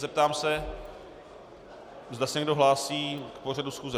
Zeptám se, zda se někdo hlásí k pořadu schůze.